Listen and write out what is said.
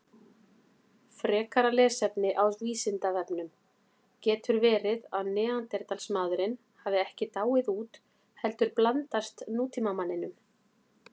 Frekara lesefni á Vísindavefnum: Getur verið að Neanderdalsmaðurinn hafi ekki dáið út heldur blandast nútímamanninum?